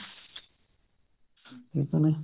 ਠੀਕ ਆ ਨਾ